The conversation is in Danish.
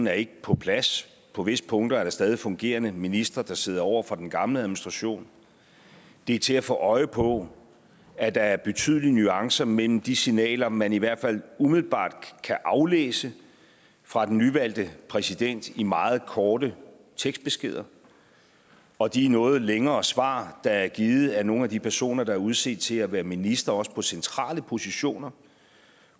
er ikke på plads og på visse punkter er der stadig fungerende ministre der sidder over for den gamle administration det er til at få øje på at der er betydelige nuancer mellem de signaler man i hvert fald umiddelbart kan aflæse fra den nyvalgte præsident i meget korte tekstbeskeder og de noget længere svar der er givet af nogle af de personer der er udset til at være ministre på også centrale positioner